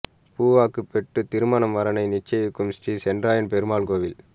பூ வாக்கு பெற்று திருமண வரனை நிச்சயிக்கும் ஸ்ரீசென்றாய பெருமாள் கோவில்